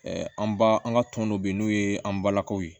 an ba an ka tɔn dɔ bɛ yen n'o ye an balakaw ye